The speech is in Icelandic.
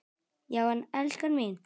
Já en, elskan mín.